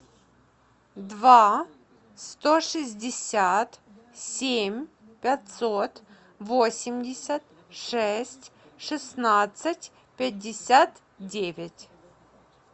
два сто шестьдесят семь пятьсот восемьдесят шесть шестнадцать пятьдесят девять